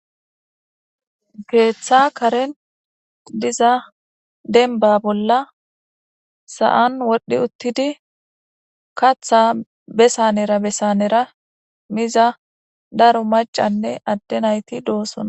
keeththa karen diza denba bolla sa7an wodhi uttidi katha besanera besanera miza daro macanne adde nayti doosona